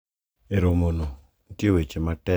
E romono, nitie weche matek ma wachre.